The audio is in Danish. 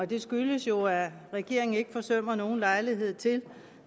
det skyldes jo at regeringen ikke forsømmer nogen lejlighed til